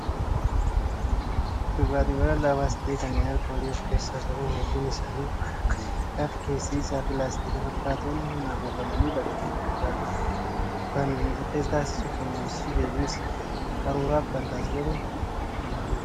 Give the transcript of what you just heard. Dhugaatiiwwan lallaafaas ta'e kanneen alkoolii of keessaa qaban hedduun isaanii waan akka sibiilaa fi keessi isaa pilaastika fakkaatuun haguugamanii bakka gurguraa dhufu. Kan adda isa taasisu kunuunsii fi eegumsi qaruuraaf kan taasifamu kanaanidha.